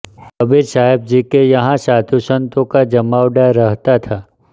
कबीर साहेब जी के यहाँ साधु संतों का जमावड़ा रहता था